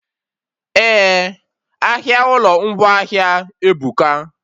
Eh, ahịa ụlọ ngwaahịa ebuka